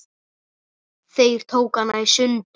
Þeir tóku hana í sundur.